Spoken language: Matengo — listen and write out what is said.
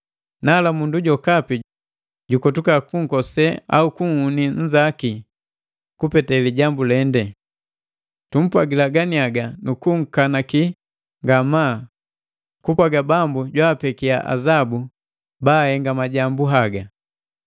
Nala mundu jokapi jukotuka kunkose au kunhuni nzaki kupete lijambu lende. Tumpwagila ganiaga nu kunkanaki ngamaa kupwaga Bambu jwapekia azabu bahenga majambu haga.